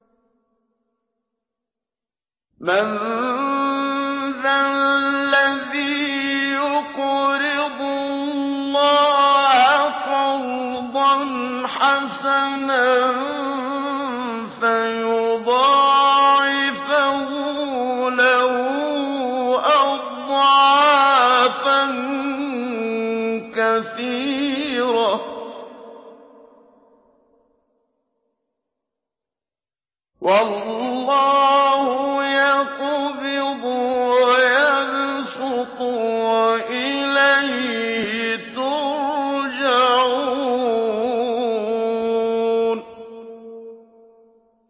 مَّن ذَا الَّذِي يُقْرِضُ اللَّهَ قَرْضًا حَسَنًا فَيُضَاعِفَهُ لَهُ أَضْعَافًا كَثِيرَةً ۚ وَاللَّهُ يَقْبِضُ وَيَبْسُطُ وَإِلَيْهِ تُرْجَعُونَ